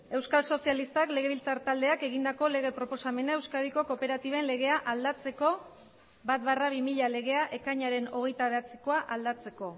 euskal sozialistak legebiltzar taldeak egindako lege proposamena euskadiko kooperatiben legea aldatzeko bat barra bi mila legea ekainaren hogeita bederatzikoa aldatzeko